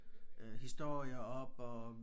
Øh historier op og